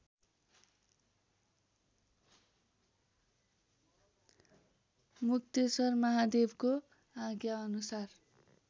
मुक्तेश्वर महादेवको आज्ञाअनुसार